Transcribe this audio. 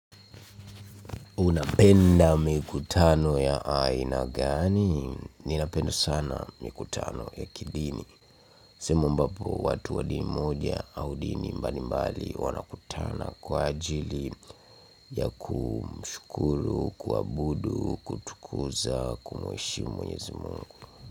Unapenda mikutano ya aina gani? Ninapenda sana mikutano ya kidini. Sehemu ambapo watu wa dini moja au dini mbalimbali wanakutana kwa ajili ya kumshukuru, kuabudu, kutukuza, kumheshimu mwenyezi Mungu.